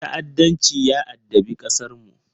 Ta’addanci ya addabi ƙasarmu.